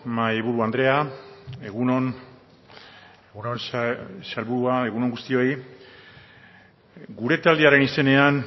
mahaiburu andrea egun on sailburua egun on guztioi gure taldearen izenean